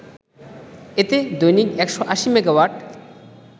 এতে দৈনিক ১৮০ মেগাওয়াট